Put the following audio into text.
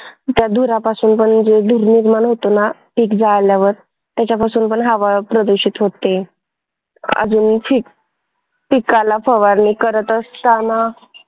त्या धुरापासून पण जो धूर निर्माण होतो ना शेत जाळल्यावर त्याच्यापासून पण हवा प्रदूषित होते. अजून पिक पिकाला फवारणी करत असतांना